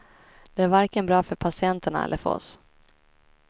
Det är varken bra för patienterna eller för oss.